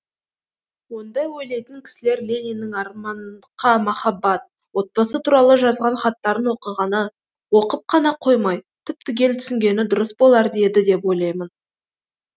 ондай ойлайтын кісілер лениннің армандқа махаббат отбасы туралы жазған хаттарын оқығаны оқып қана қоймай түп түгел түсінгені дұрыс болар еді деп ойлаймын